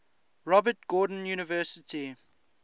robert gordon university